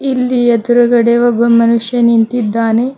ಇಲ್ಲಿ ಎದ್ರುಗಡೆ ಒಬ್ಬ ಮನುಷ್ಯ ನಿಂತಿದ್ದಾನೆ.